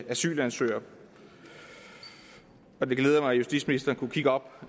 asylansøgere det glæder mig at justitsministeren kunne kigge op